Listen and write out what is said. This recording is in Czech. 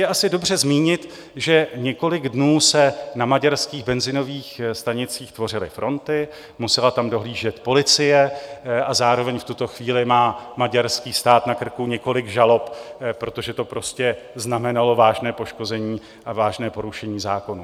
Je asi dobře zmínit, že několik dnů se na maďarských benzinových stanicích tvořily fronty, musela tam dohlížet policie a zároveň v tuto chvíli má maďarský stát na krku několik žalob, protože to prostě znamenalo vážné poškození a vážné porušení zákonů.